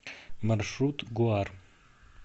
маршрут гуар